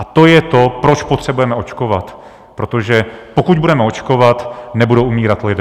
A to je to, proč potřebujeme očkovat, protože pokud budeme očkovat, nebudou umírat lidé.